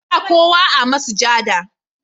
Ba kowa a masujada.